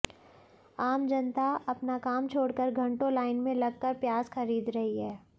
आम जनता अपना काम छोड़कर घंटों लाइन में लगकर प्याज खरीद रही है